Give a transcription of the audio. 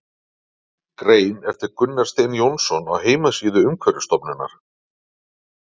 Grein eftir Gunnar Stein Jónsson á heimasíðu Umhverfisstofnunar.